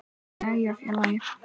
Jæja félagi!